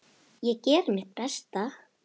Ég geri mitt besta.